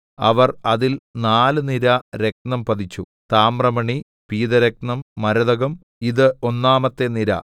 അവർ അതിൽ നാല് നിര രത്നം പതിച്ചു താമ്രമണി പീതരത്നം മരതകം ഇത് ഒന്നാമത്തെ നിര